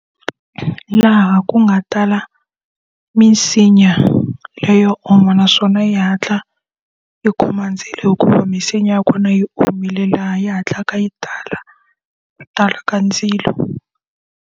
Laha ku nga tala minsinya leyo onha naswona yi hatla yi khoma ndzilo hikuva misinya ya kona yi omile laha yi hatlaka yi tala, ku tala ka ndzilo.